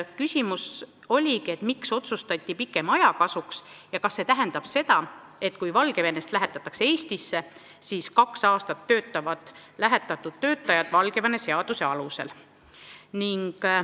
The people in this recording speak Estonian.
Küsimus oligi, miks otsustati pikema aja kasuks ja kas see tähendab seda, et kui Valgevenest lähetatakse inimesi Eestisse, siis kaks aastat töötavad lähetatud töötajad Valgevene seaduse alusel.